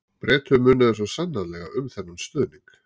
Bretum munaði svo sannarlega um þennan stuðning.